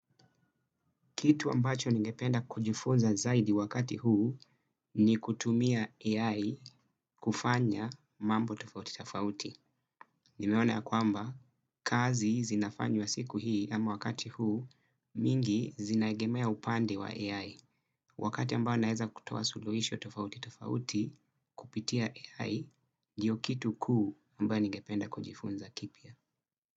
Kitu ambacho nigependa kujifunza zaidi wakati huu ni kutumia AI kufanya mambo tofauti tafauti. Nimeona ya kwamba, kazi zinafanywa siku hii ama wakati huu mingi zinaegemea upande wa AI. Wakati ambao naeza kutoa suluhisho tofauti tafauti kupitia AI, ndio kitu kuu ambao ningependa kujifunza kipya.